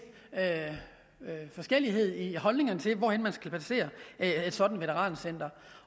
forskellighed i holdningerne til hvor man skal placere et sådan veterancenter